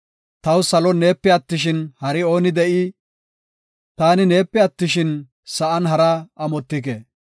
Taw salon neepe attishin, hari ooni de7ii? Taani neepe attishin, sa7an haraa amotike.